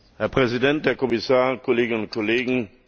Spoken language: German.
Herr Präsident, Herr Kommissar, Kolleginnen und Kollegen!